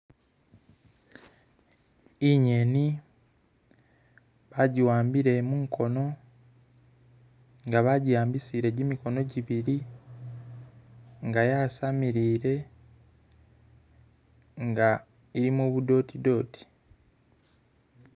Inyeni baji wambile mukoono nga banjiambisile jimikhono jiibili nga yasamilile nga ilimo bu dot dot